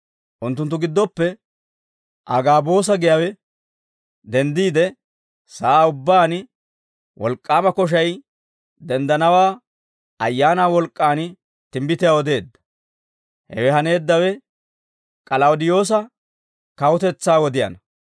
Unttunttu giddoppe Agaaboosa giyaawe denddiide, sa'aa ubbaan wolk'k'aama koshay denddanawaa Ayaanaa wolk'k'aan timbbitiyaa odeedda; hewe haneeddawe K'alawudeyoosa kawutetsaa wodiyaanna.